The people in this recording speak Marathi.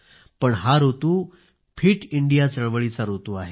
पण हा ऋतू फिट इंडिया चळवळीचा ऋतू आहे